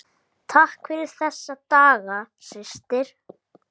Takk fyrir þessa daga, systir.